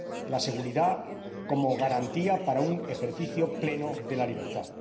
la seguridad como garantía para un ejercicio pleno de la libertad.